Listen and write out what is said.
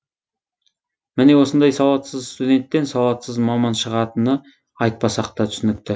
міне осындай сауатсыз студенттен сауатсыз маман шығатыны айтпасақ та түсінікті